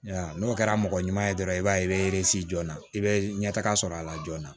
N'o kɛra mɔgɔ ɲuman ye dɔrɔn i b'a ye i bɛ jɔn na i bɛ ɲɛtaga sɔrɔ a la joona